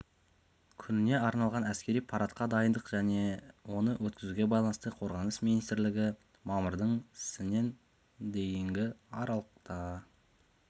күніне арналған әскери парадқа дайындық және оны өткізуге байланысты қорғаныс министрлігі мамырдың сінен дейінгі аралықта